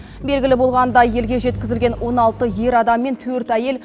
белгілі болғандай елге жеткізілген он алты ер адам мен төрт әйел